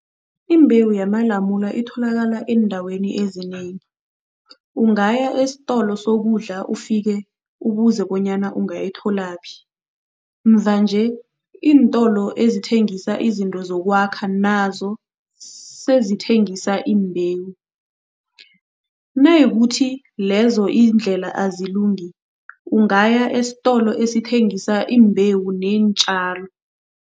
Imbewu yiamalamula itholakala eendaweni ezinengi, ungaya esitolo sokudla ufike ubuze bonyana ungayitholaphi. Mvanje iintolo ezithengisa izinto zokwakha nazo sezithengisa imbewu. Nayikuthi lezo iindlela azilungi, ungaya esitolo esithengisa iimbewu neentjalo.